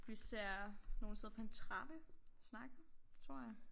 Vi ser nogen sidde på en trappe og snakke tror jeg